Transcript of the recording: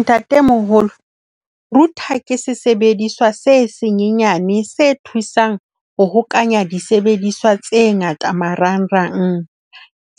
Ntatemoholo, router ke sesebediswa se senyenyane se thusang ho hokahanya disebediswa tse ngata marangrang.